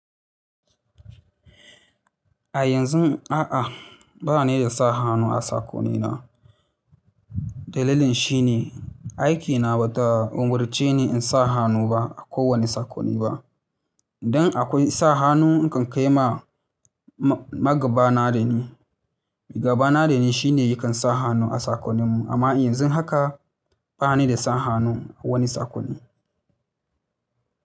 A yanzun a'a, ba ni da sa hannu a sakonina. Dalilin shi ne aikina ba ta umurceni in sa hannu ba a kowane sakonni ba. Idan akwai sa hannu, nakan kai ma nagaba da ni. Nagaba da ni shi ne ya kan sa hannu a sakonim. Amma yanzu haka ba ni da sa hannu a wani sakonni.